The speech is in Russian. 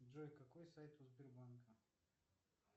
джой какой сайт у сбербанка